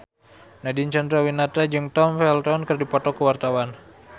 Nadine Chandrawinata jeung Tom Felton keur dipoto ku wartawan